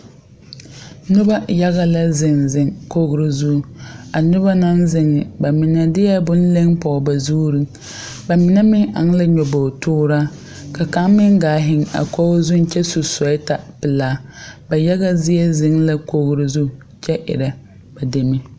Noba yaga la zeŋ zeŋ kogro zuŋ. A noba naŋ zeŋ ba, mine deɛ bone leŋ pɔge ba zuuri. Ba mine meŋ eŋ la nyabootooraa, ka kaŋ meŋ gaa zeŋ kogi zuŋ kyɛ su soɔɛta pelaa. Ba yaga zie zeŋ la kogro zu kyɛ erɛ, ba deme.